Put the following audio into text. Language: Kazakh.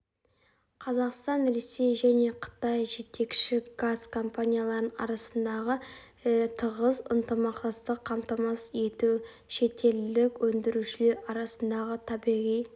қазақстан ресей және қытай жетекші газ компанияларының арасындағы тығыз ынтымақтастықты қамтамасыз ету шетелдік өндірушілер арасындағы табиғи